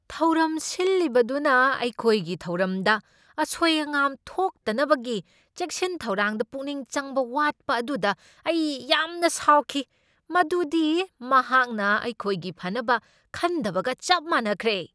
ꯊꯧꯔꯝ ꯁꯤꯜꯂꯤꯕꯗꯨꯅ ꯑꯩꯈꯣꯢꯒꯤ ꯊꯧꯔꯝꯗ ꯑꯁꯣꯢ ꯑꯉꯥꯝ ꯊꯣꯛꯇꯅꯕꯒꯤ ꯆꯦꯛꯁꯤꯟ ꯊꯧꯔꯥꯡꯗ ꯄꯨꯛꯅꯤꯡ ꯆꯪꯕ ꯋꯥꯠꯄ ꯑꯗꯨꯗ ꯑꯩ ꯌꯥꯝꯅ ꯁꯥꯎꯈꯤ꯫ ꯃꯗꯨꯗꯤ ꯃꯍꯥꯛꯅ ꯑꯩꯈꯣꯢꯒꯤ ꯐꯅꯕ ꯈꯟꯗꯕꯒ ꯆꯞ ꯃꯥꯅꯈ꯭ꯔꯦ꯫